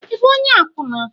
Ị bụ onye akwụna?